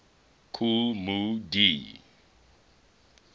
kool moe dee